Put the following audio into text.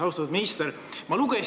Austatud minister!